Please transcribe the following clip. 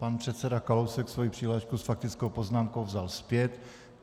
Pan předseda Kalousek svoji přihlášku s faktickou poznámkou vzal zpět.